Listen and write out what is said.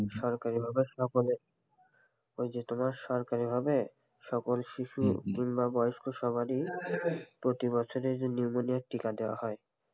সরকারি ভাবে সকলের ওই যে তোমার সরকারি ভাবে সকল শিশু কিংবা বয়স্ক সবারই প্রতি বছর নিউমোনিয়ার টীকা দেওয়া হয়,